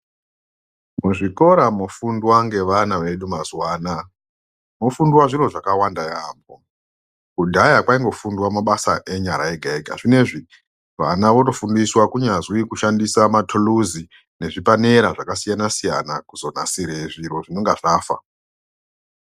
Muzvikora mofundwa ngevana vedu mazuwa anaya mofundwa zviro zvakawanda yaambo kudhaya kwaingofunda mabasa enyara ega ega zvinezvi vana votofundiswa kunyazwi kushandisa matuluzi nezvipanera zvakasiyana siyana kuzonasire zviro zvinenge zvafa.